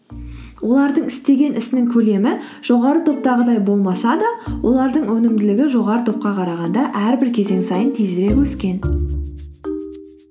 олардың істеген ісінің көлемі жоғары топтағыдай болмаса да олардың өнімділігі жоғары топқа қарағанда әрбір кезең сайын тезірек өскен